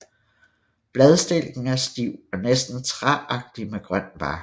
Bladstilken er stiv og næsten træagtig med grøn bark